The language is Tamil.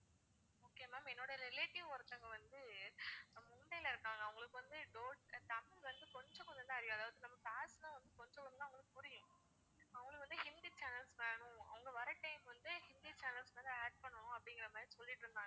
okay ma'am என்னோட relative ஒருத்தங்க வந்து அவங்க மும்பைல இருக்காங்க அவங்களுக்கு வந்து தமிழ் வந்து கொஞ்சம் கொஞ்சம் தான் அறியும் அதாவது நம்ம channels லாம் வந்து கொஞ்சம் கொஞ்சம் தான் அவங்களுக்கு புரியும் அவங்களுக்கு வந்து ஹிந்தி channels வேணும் அவங்க வர்ற time வந்து ஹிந்தி channels வந்து add பண்ணனும் அப்படிங்குற மாதிரி சொல்லிட்டு இருந்தாங்க